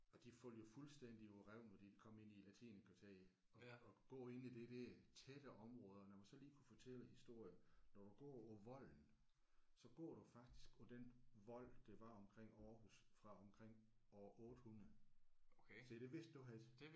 Og de falder jo fuldstændig på røven når de kommer ind i latinerkvarteret at at gå inde i det der tætte område og lad mig så lige kunne fortælle en historie når du går over Volden så går du faktisk på den vold der var omkring Aarhus fra omkring år 800. Se det vidste du ikke